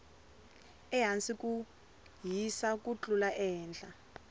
ehasi ku hisa ku tlula ehehla